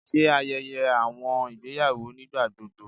Ṣe ayẹyẹ awọn igbeyawo nigbagbogbo